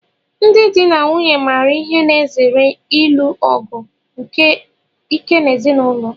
Ndị di na nwunye maara ihe na-ezere ilu ọgụ ike n'ezinụlọ.